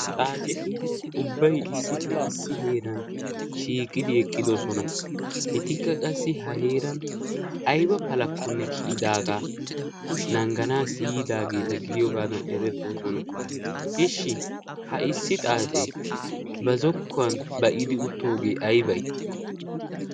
Xaaceti ubbay issippe issi heeran shiiqqidi eqqidosona. Etikka qassi ha heeran ayba palakkonne kiyidaagaa naagganaassi yiidaageeta gidiyoogaadan erettoosona. Ishshi ha issi xaacee ba zokkuwan ba'idi uttoogee aybay?